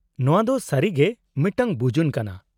-ᱱᱚᱶᱟ ᱫᱚ ᱥᱟᱹᱨᱤᱜᱮ ᱢᱤᱫᱴᱟᱝ ᱵᱩᱡᱩᱱ ᱠᱟᱱᱟ ᱾